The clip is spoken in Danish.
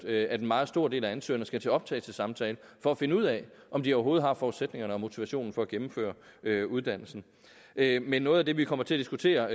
at en meget stor del af ansøgerne skal til optagelsessamtale for at finde ud af om de overhovedet har forudsætningerne og motivationen for at gennemføre uddannelsen men noget af det vi kommer til at diskutere